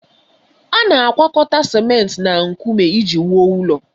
A na-agwakọta simenti na nkume iji wuo ụlọ.